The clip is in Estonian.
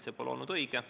See pole olnud õige.